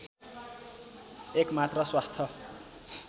एकमात्र स्वास्थ